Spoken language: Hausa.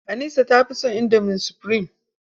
Anisa ta fi son indomi sufurim.